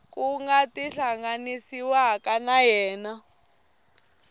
ku nga tihlanganisiwaka na yena